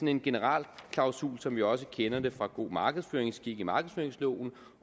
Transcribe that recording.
en generalklausul som vi også kender det fra god markedsføringsskik i markedsføringsloven